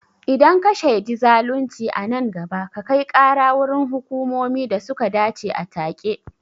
Idan ka shaidi zalunci a nan gaba, ka kai kara wurin hukumomi da suka dace a take.